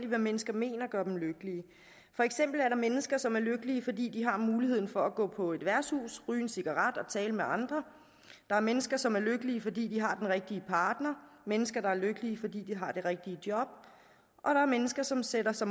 hvad mennesker mener gør dem lykkelige for eksempel er der mennesker som er lykkelige fordi de har muligheden for at gå på et værtshus ryge en cigaret og tale med andre der er mennesker som er lykkelige fordi de har den rigtige partner mennesker der er lykkelige fordi de har det rigtige job og der er mennesker som sætter sig